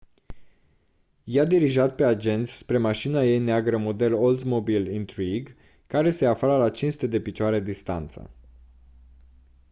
i-a dirijat pe agenți spre mașina ei neagră model oldsmobile intrigue care se afla la 500 de piciore distanță